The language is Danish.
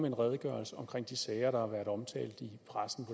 en redegørelse om de sager der har været omtalt i pressen